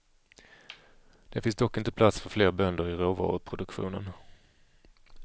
Det finns dock inte plats för fler bönder i råvaruproduktionen.